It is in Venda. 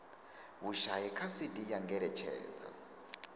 vhushai kha cd ya ngeletshedzo